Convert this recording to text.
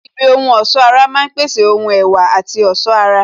Ibi ohun ọ̀sọ́ ara máa ń pèsè ohun ẹwà àti ọ̀ṣọ́ ara